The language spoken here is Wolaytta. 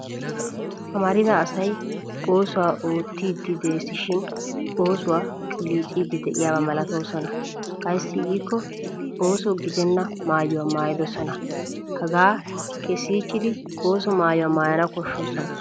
Amarida asay oosuwa oottiiddi des shin oosuwa qilliciidi de'iyaaba malatoosona. Ayssi giikko ooso gidenna maayuwa maayidosona hagaa kessichchidi osso maayuwaa maayana koshshoosona.